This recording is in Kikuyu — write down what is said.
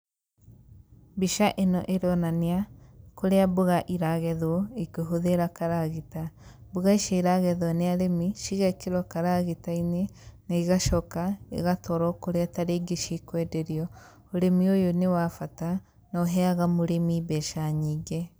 Mbica ĩno ĩronania, kũrĩa mboga iragethwo, ikĩhũthĩra karagita. Mboga ici iragethwo nĩ arĩmi, cigekĩrwo karagita-inĩ, na igacoka igatwarwo kũrĩa tarĩngĩ cikwenderio. Ũrĩmi ũyũ nĩ wa bata, na ũheaga mũrĩmi mbeca nyingĩ.